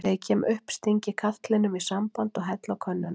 Þegar ég kem upp sting ég katlinum í samband og helli á könnuna.